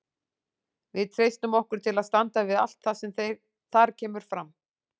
Við treystum okkur til að standa við allt það sem þar kemur fram.